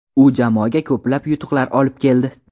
U jamoaga ko‘plab yutuqlar olib keldi.